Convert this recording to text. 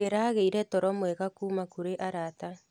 Ndĩragĩire toro mwega kuuma kũrĩ arata.